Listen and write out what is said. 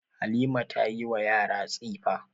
Halima ta yi wa yara tsifa.